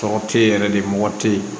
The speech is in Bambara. Tɔgɔ te yen yɛrɛ de mɔgɔ te ye